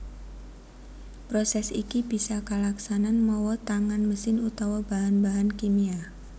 Prosès iki bisa kalaksanan mawa tangan mesin utawa bahan bahan kimia